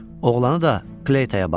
Oğlanı da Kleytaya bağla.